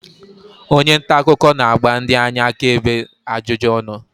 onye nta akụkọ na-agba ndị anya akaebe ajụjụ ọnụ